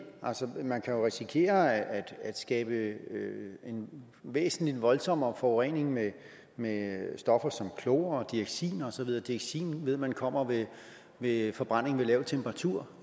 man kan jo risikere at skabe en væsentlig voldsommere forurening med med stoffer som klor dioxin og så videre dioxin ved man kommer ved forbrænding ved lav temperatur